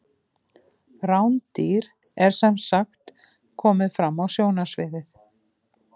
Rándýr er sem sagt komið fram á sjónarsviðið.